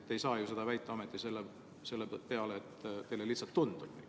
Te ei saa ju seda väita ometi selle põhjal, et teile lihtsalt tundub nii.